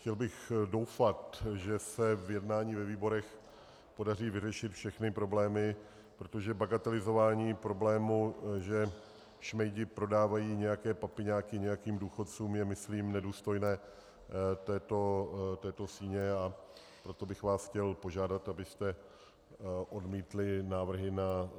Chtěl bych doufat, že se v jednání ve výborech podaří vyřešit všechny problémy, protože bagatelizování problémů, že šmejdi prodávají nějaké papiňáky nějakým důchodcům, je myslím nedůstojné této síně, a proto bych vás chtěl požádat, abyste odmítli návrhy na